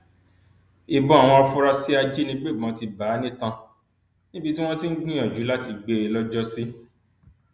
ìbọn àwọn afurasí ajínigbébọn ti bá a nítan níbi tí wọn ti ń gbìyànjú láti gbé e lọjọsí